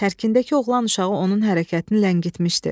Tərkindəki oğlan uşağı onun hərəkətini ləngitmişdi.